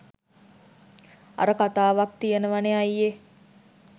අර කතාවක් තියෙනවනෙ අයියෙ